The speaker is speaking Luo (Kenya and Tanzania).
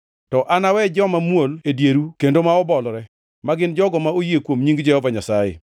To anawe joma muol e dieru kendo ma obolore, ma gin jogo ma oyie kuom nying Jehova Nyasaye.